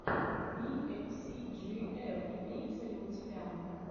би эф ви си джи эф имеется ли у тебя